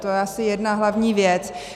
To je asi jedna hlavní věc.